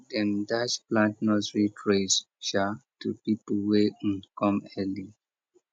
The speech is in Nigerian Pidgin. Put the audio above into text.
dem dash plant nursery trays um to pipo wey um come early